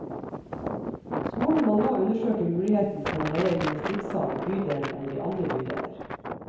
Skolen må nå undersøke muligheten for å leie gymnstikksal i bydelen eller i andre bydeler.